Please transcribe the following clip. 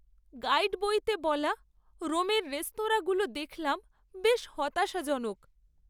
Guide বইতে বলা রোমের রেস্তোরাঁগুলো দেখলাম বেশ হতাশাজনক।